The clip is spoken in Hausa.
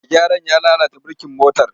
Mai gyaran ya lalata birkin motar.